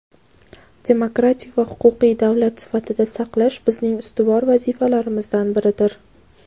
demokratik va huquqiy davlat sifatida saqlash bizning ustuvor vazifalarimizdan biridir.